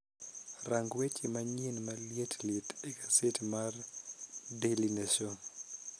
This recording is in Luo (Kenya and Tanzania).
Rang weche manyien maliet liet egaset may daily nation